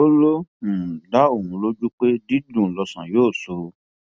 ó lọ um dá òun lójú pé dídùn lọsàn yóò sọ